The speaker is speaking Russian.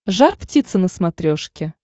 жар птица на смотрешке